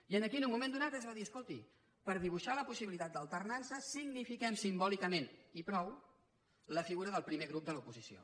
i aquí en un moment donat es va dir escolti per dibuixar la possibilitat d’alternança signifiquem simbòlicament i prou la figura del primer grup de l’oposició